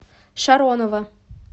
шаронова